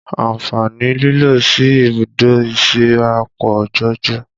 Àǹfààní lílọ sí ibùdó ìsíra pọ̀ jọjọ